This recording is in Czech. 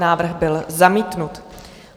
Návrh byl zamítnut.